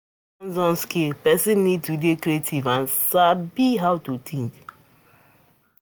For hands-on skill person need to dey creative and sabi and sabi how to think